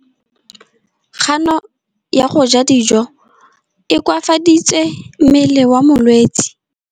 Kganô ya go ja dijo e koafaditse mmele wa molwetse.